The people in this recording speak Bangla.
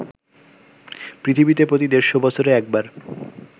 পৃথিবীতে প্রতি ১৫০ বছরে একবার